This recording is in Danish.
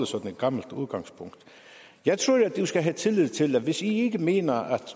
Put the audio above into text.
sådan et gammelt udgangspunkt jeg tror at man skal have tillid til at hvis i ikke mener at